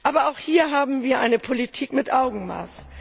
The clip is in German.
Aber auch hier haben wir eine Politik mit Augenmaß.